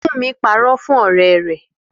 Fúnmi parọ́ fún ọ̀rẹ́ rẹ̀